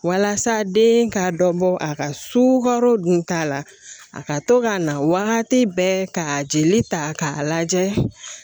Walasa den ka dɔ bɔ a ka sukaro dun ta la a ka to ka na wagati bɛɛ ka jeli ta k'a lajɛ